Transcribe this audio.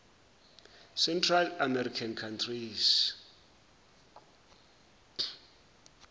central american countries